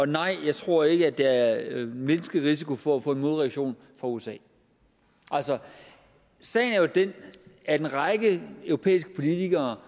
nej jeg tror ikke at der er mindsket risiko for at få en modreaktion fra usa altså sagen er jo den at en række europæiske politikere